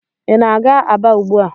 Ị na-aga Aba ugbu a?